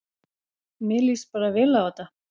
Mér líst bara vel á þetta